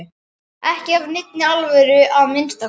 Ekki af neinni alvöru að minnsta kosti.